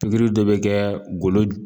Pikiri dɔ be kɛ golo